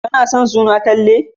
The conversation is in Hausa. Kana son suna Talle?